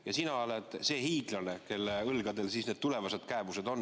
Ja sina oled siis see hiiglane, kelle õlgadel need tulevased kääbused on.